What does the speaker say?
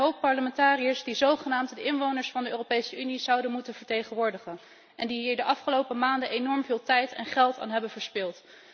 Dat zijn heel wat parlementariërs die zogenaamd de inwoners van de Europese Unie zouden moeten vertegenwoordigen en die hier de afgelopen maanden enorm veel tijd en geld aan hebben verspild.